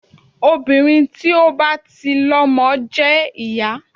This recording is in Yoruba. Obìnrin tí ó bá ti lọmọ jẹ́ ìyá.